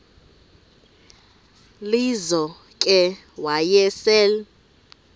lizo ke wayesel